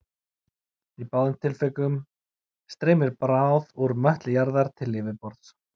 Í báðum tilvikum streymir bráð úr möttli jarðar til yfirborðs.